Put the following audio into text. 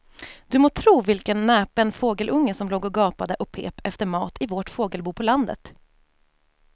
Du må tro vilken näpen fågelunge som låg och gapade och pep efter mat i vårt fågelbo på landet.